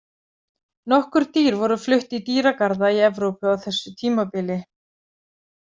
Nokkur dýr voru flutt í dýragarða í Evrópu á þessu tímabili.